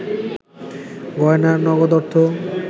গয়না আর নগদ অর্থ